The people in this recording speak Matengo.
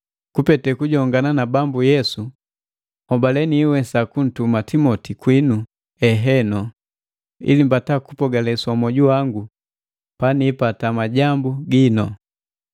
Kupete kujongana na Bambu Yesu nhobale niiwesa kuntuma Timoti kwinu eheno, ili mbata kupogaleswa mwoju wangu panipata majambu ginu.